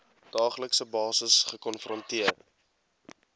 daaglikse basis gekonfronteer